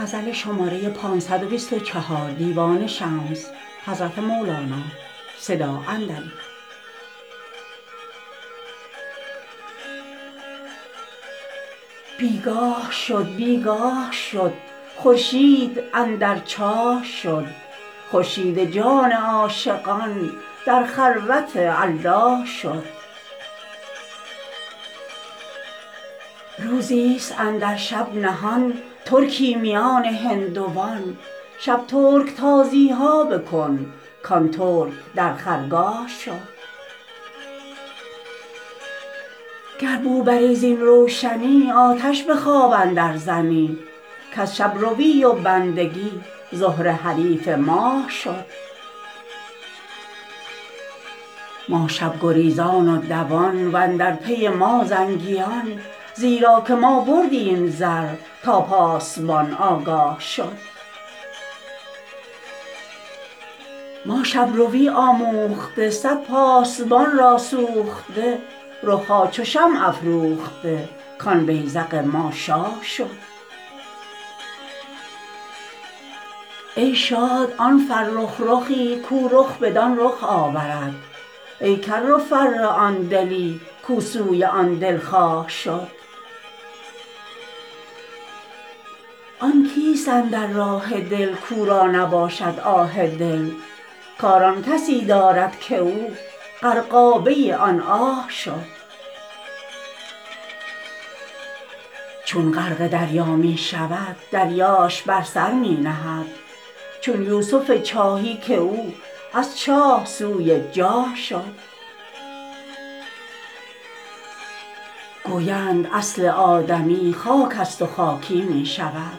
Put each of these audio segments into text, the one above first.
بی گاه شد بی گاه شد خورشید اندر چاه شد خورشید جان عاشقان در خلوت الله شد روزیست اندر شب نهان ترکی میان هندوان شب ترک تازی ها بکن کان ترک در خرگاه شد گر بو بری زین روشنی آتش به خواب اندرزنی کز شب روی و بندگی زهره حریف ماه شد ما شب گریزان و دوان و اندر پی ما زنگیان زیرا که ما بردیم زر تا پاسبان آگاه شد ما شب روی آموخته صد پاسبان را سوخته رخ ها چو شمع افروخته کان بیذق ما شاه شد ای شاد آن فرخ رخی کو رخ بدان رخ آورد ای کر و فر آن دلی کو سوی آن دلخواه شد آن کیست اندر راه دل کو را نباشد آه دل کار آن کسی دارد که او غرقابه آن آه شد چون غرق دریا می شود دریاش بر سر می نهد چون یوسف چاهی که او از چاه سوی جاه شد گویند اصل آدمی خاکست و خاکی می شود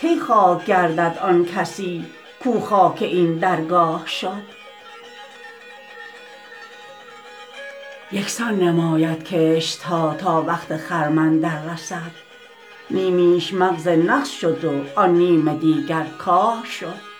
کی خاک گردد آن کسی کو خاک این درگاه شد یک سان نماید کشت ها تا وقت خرمن دررسد نیمیش مغز نغز شد وان نیم دیگر کاه شد